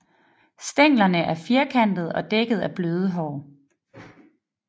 Stænglerne er firkantede og dækket af bløde hår